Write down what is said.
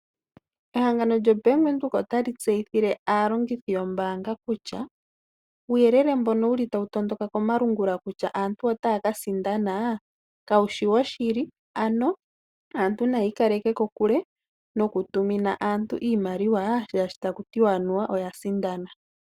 Ehangano lyo Bank Windhoek ota li tseyithile aalongithi yombaanga kutya. Uuyelele mbono tawu tondoka komalungula kutya aantu otaya ka sindana. Kawushi woshili ano aantu nayiikaleke kokule noku tumina aantu iimaliwa taku tiwa anuwa oya sindana.